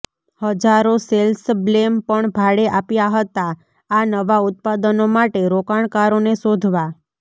હજારો સેલ્સબ્લેમ પણ ભાડે આપ્યા હતા આ નવા ઉત્પાદનો માટે રોકાણકારોને શોધવા